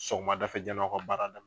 Sɔgɔmada fɛ yanni aw ka baara daminɛ